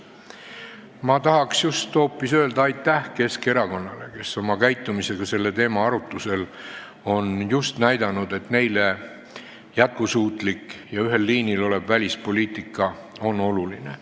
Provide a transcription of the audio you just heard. Ma tahan hoopis öelda aitäh Keskerakonnale, kes oma käitumisega selle teema arutusel on just näidanud, et neile on jätkusuutlik ja ühel liinil olev välispoliitika oluline.